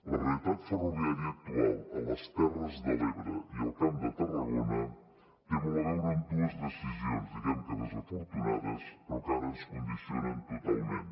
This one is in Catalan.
la realitat ferroviària actual a les terres de l’ebre i al camp de tarragona té molt a veure amb dues decisions diguem que desafortunades però que ara ens condicionen totalment